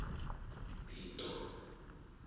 pito